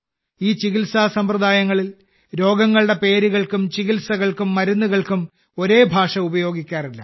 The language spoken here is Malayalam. ഈ ചികിത്സാസമ്പ്രദായങ്ങളിൽ രോഗങ്ങളുടെ പേരുകൾക്കും ചികിത്സകൾക്കും മരുന്നുകൾക്കും ഒരേ ഭാഷ ഉപയോഗിക്കാറില്ല